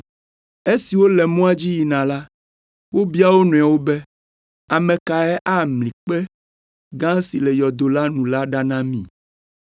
Esi wole mɔa dzi yina la, wobia wo nɔewo be, “Ame kae amli kpe gã si le yɔdo la nu la ɖa na mí?”